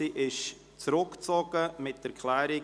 Sie ist zurückgezogen mit Erklärung.